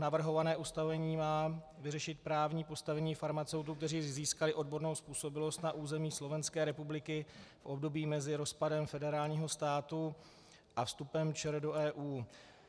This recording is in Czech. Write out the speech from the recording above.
Navrhované ustanovení má vyřešit právní postavení farmaceutů, kteří získali odbornou způsobilost na území Slovenské republiky v období mezi rozpadem federálního státu a vstupem ČR do EU.